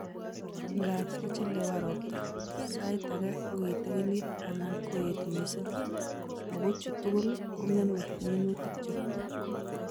"Ngaab kochelewan robta ,saiit age kokitikinit anan koet missing ,ago chu tugul kong'emei minutikcho